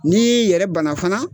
Ni y'i yɛrɛ bana fana